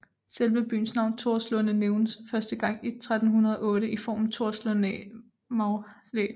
Selve byens navn Torslunde nævnes første gang i 1308 i formen Torslundæ maghlæ